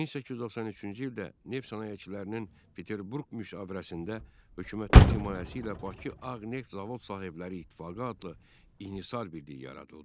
1893-cü ildə neft sənayeçilərinin Peterburq müşavirəsində hökumətin himayəsi ilə Bakı Ağ Neft Zavod sahibləri İttifaqı adlı inhisar birliyi yaradıldı.